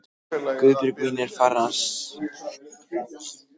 Guðbjörg mín er farin, sagði amma við